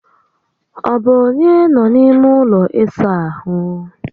Ọ bụ onye nọ n'ime ụlọ ịsa ahụ?